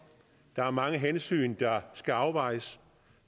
der er mange hensyn der skal afvejes